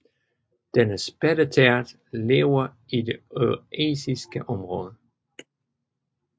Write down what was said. Denne spætteart lever i det eurasiske område